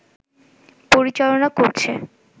পরিচালনা করছে